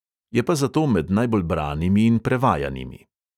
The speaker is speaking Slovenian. Je pa zato med najbolj branimi in prevajanimi.